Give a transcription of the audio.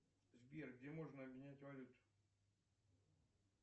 сбер где можно обменять валюту